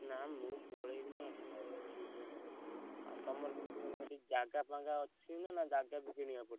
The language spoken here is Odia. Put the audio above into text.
ନା ମୁଁ ପଳେଇବି ନା ଏଠି ଆଉ ଆଉ ତମର କିଛି ମାନେ ସେଠି ଜାଗା ଫାଗା ଅଛି ନା ଜାଗା ବି କିଣିଆକୁ ପଡିବ?